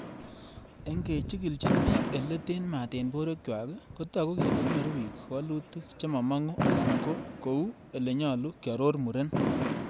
'Engechigilchin bik ele ten maat en borwek chwak kotogu kele nyoru bik woluutik chemomongu alan ko kou elenyolu,''kiaror Muren